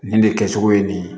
Nin de kɛcogo ye nin ye